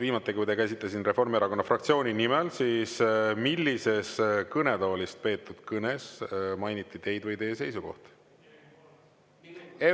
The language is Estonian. Viimati, kui te käisite siin Reformierakonna fraktsiooni nimel, siis millises kõnetoolist peetud kõnes mainiti teid või teie seisukohti?